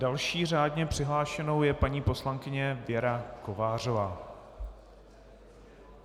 Další řádně přihlášenou je paní poslankyně Věra Kovářová.